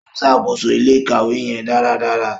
O ṣakoso ilé-ìkawe yẹn daradara.